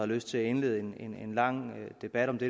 lyst til at indlede en lang debat om det